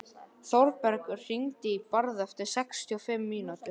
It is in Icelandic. Þórbergur, hringdu í Bárð eftir sextíu og fimm mínútur.